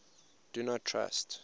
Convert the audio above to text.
do not trust